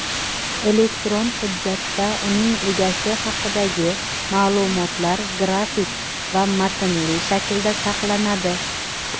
elektron hujjatda uning egasi haqidagi ma’lumotlar grafik va matnli shaklda saqlanadi.